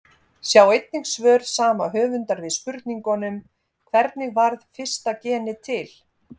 Sjá einnig svör sama höfundar við spurningunum Hvernig varð fyrsta genið til?